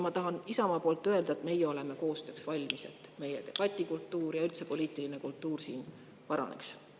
Ma tahan Isamaa nimel öelda, et meie oleme koostööks valmis, et meie debatikultuur ja üldse poliitiline kultuur paraneks.